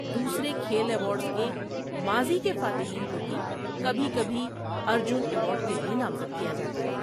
دوسرے کھیل ایوارڈز کے ماضی کے فاتحین کو بھی کبھی کبھی ارجن ایوارڈ کے لیے نامزد کیا جاتا ہے۔